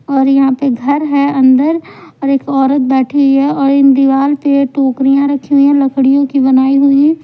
और यहां पे घर है अंदर और एक औरत बैठी है और इन दीवार पे टोकरियां रखी हुई है लकड़ियों की बनाई हुई।